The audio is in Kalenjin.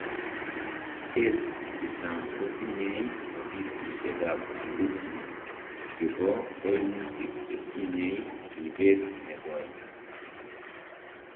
States chechang kotinyei offisisiek ab ombudsman chebo koimutik chetinyei ribet negoi